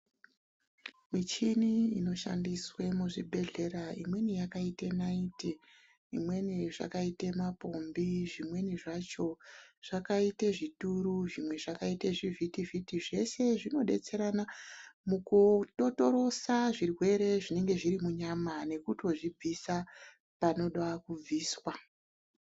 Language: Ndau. Muchini inoshandiswa muzvibhedhlera yakaita naiti imweni yacho zvakaita mapombii ,zvimweni zvacho zvakaita zvituru, zvimwe zvakaita zvivhiti-vhiti ,zvose zvinodetserana mukudotorosa zvirwere zvinenge zviri munyama nekutozvibvisa panoda kubviswa.